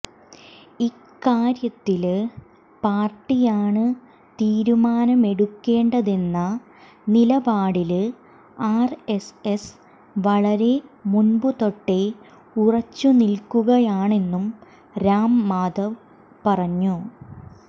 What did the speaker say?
ഇക്കാര്യത്തില് പാര്ട്ടിയാണ് തീരുമാനമെടുക്കേണ്ടതെന്ന നിലപാടില് ആര്എസ്എസ് വളരെ മുമ്പു തൊട്ടെ ഉറച്ചുനില്ക്കുകയാണെന്നും രാംമാധവ് പറഞ്ഞു